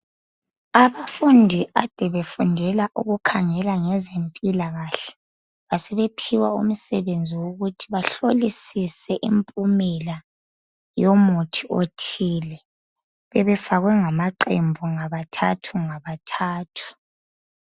Abafundi kade befundela ukukhangela ngeze mpilakahle besebephiwa umsebenzi okuthi bahlolisile impumela yomuthi othile bebefakwe ngamaqembu ngabathathu ngabathathu